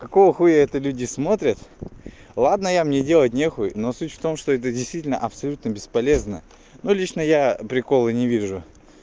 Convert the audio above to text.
какого хуя это люди смотрят ладно я мне делать не хуй но суть в том что это действительно абсолютно бесполезно но лично я прикола не вижу